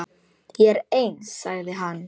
Ég er eins, sagði hann.